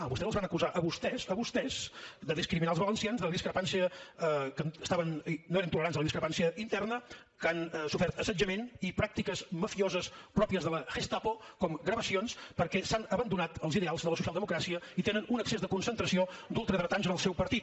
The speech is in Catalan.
a vostès els van acusar a vostès a vostès de discriminar els valencians que no eren tolerants a la discrepància interna que han sofert assetjament i pràctiques mafioses pròpies de la gestapo com gravacions perquè s’han abandonat els ideals de la socialdemocràcia i tenen un excés de concentració d’ultradretans en el seu partit